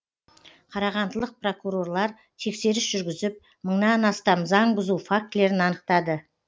қарағандылық прокурорлар тексеріс жүргізіп мыңнан астам заң бұзу фактілерін анықтады